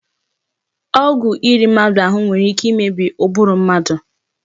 Ọgwụ iri mmadụ ahụ nwere ike imebi ụbụrụ mmadụ